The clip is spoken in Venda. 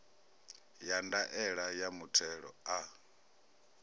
ya ndaela ya muthelo a